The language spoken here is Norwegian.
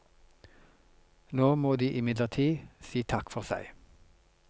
Nå må de imidlertid si takk for seg.